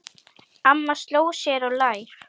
Amma sló sér á lær.